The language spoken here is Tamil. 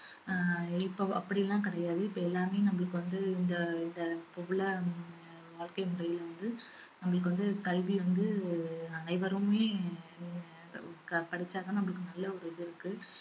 அஹ் இப்ப அப்படியெல்லாம் கிடையாது இப்ப எல்லாமே நம்மளுக்கு வந்து இந்த இத இப்ப உள்ள ஹம் வாழ்க்கை முறைல வந்து நம்மளுக்கு வந்து கல்வி வந்து அனைவருமே ஆஹ் க~ படிச்சா தான் நமக்கு நல்ல ஒரு இது இருக்கு